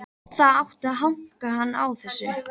Það átti að hanka hann á þessu.